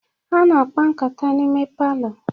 A na-akpa nkata n'ime palọ.